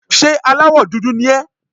Ṣé aláwọ̀ dúdú ni ẹ́?